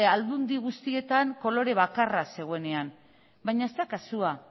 aldundi guztietan kolore bakarra zegoenean baina ez da kasua